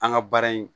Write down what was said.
An ka baara in